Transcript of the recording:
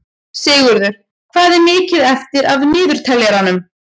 Sigurður, hvað er mikið eftir af niðurteljaranum?